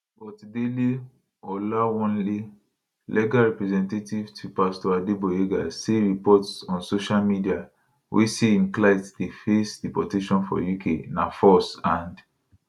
but dele olawanle legal representative to pastor adegboyega say reports on social media wey say im client dey face deportation for uk na false and